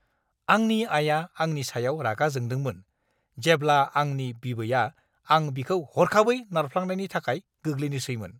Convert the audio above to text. आंनि आया आंनि सायाव रागा जोंदोंमोन जेब्ला आंनि बिबैआ आं बिखौ हरखाबै नारफ्लांनायनि थाखाय गोग्लैनोसैमोन।